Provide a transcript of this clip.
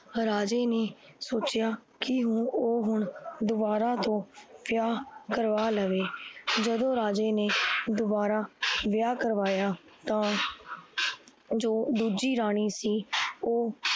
ਰਾਜੇ ਨੇ ਸੋਚਿਆ ਕੀ ਹੁਣ ਓਹ ਹੁਣ ਦੋਬਾਰਾ ਤੋਂ ਵਿਆਹ ਕਰਵਾ ਲਵੇ l ਜਦੋਂ ਰਾਜੇ ਨੇ ਦੋਬਾਰਾ ਵਿਆਹ ਕਰਵਾਇਆ ਤਾਂ ਜੋ ਦੂਜੀ ਰਾਣੀ ਸੀ ਓਹ